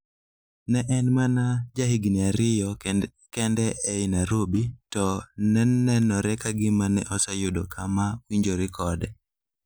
Ne en mana jahigini ariyo kende e Nairobi, to ne nenore ka gima ne oseyudo kama owinjore kode.